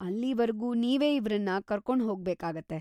ಅಲ್ಲೀವರ್ಗೂ ನೀವೇ ಇವ್ರನ್ನ ಕರ್ಕೊಂಡ್‌ ಹೋಗ್ಬೇಕಾಗತ್ತೆ.